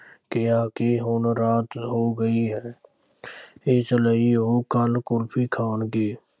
ਕਿਹਾ ਕਿ ਹੁਣ ਰਾਤ ਹੋ ਗਈ ਹੈ ਇਸ ਲਈ ਉਹ ਕੱਲ੍ਹ ਕੁਲਫ਼ੀ ਖਾਣਗੇ।